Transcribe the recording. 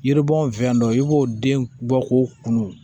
Yiribɔn fɛn dɔ i b'o den bɔ k'o kunun